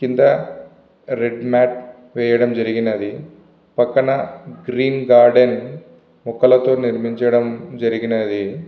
కింద red mat వేయడం జరిగినది. పక్కన గ్రీన్ గార్డెన్ మొక్కలతో నిర్మించడం జరిగినది.